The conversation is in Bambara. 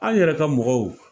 An yɛrɛ ka mɔgɔw